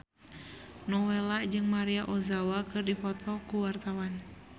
Nowela jeung Maria Ozawa keur dipoto ku wartawan